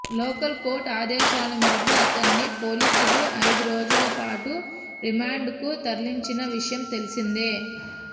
local court ఆదేశాల మేరకు ఆతన్ని పోలీసులు ఐదు రోజుల పాటు రిమాండ్కు తరలించిన విషయం తెలిసిందే